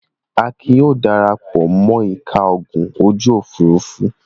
Akin yóò dara pọ̀ mọ́ ẹ̀ka ogun ojú-òfurufú.